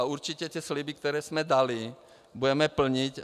A určitě ty sliby, které jsme dali, budeme plnit.